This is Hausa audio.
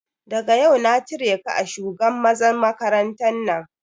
Daga yau na cire ka a shugan mazan makarantan nan!